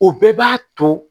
O bɛɛ b'a to